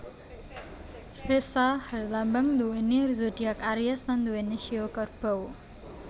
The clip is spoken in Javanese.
Ressa herlambang nduweni zodiak aries lan nduweni shio Kerbau